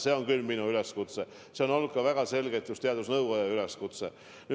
See on siin minu üleskutse, aga see on olnud väga selgelt just teadusnõukoja üleskutse.